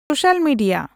social media